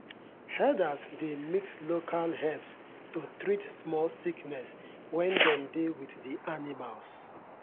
herders dey mix local herbs to treat small sickness when dem dey with the animals.